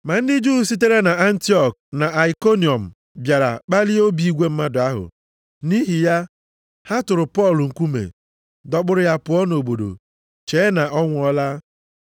Ma ndị Juu sitere nʼAntiọk na Aikoniọm bịara kpalie obi igwe mmadụ ahụ. Nʼihi ya, ha tụrụ Pọl nkume, dọkpụrụ ya pụọ nʼobodo, chee na ọ nwụọla.